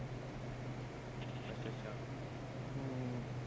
ਅੱਛਾ ਅੱਛਾ ਹਮ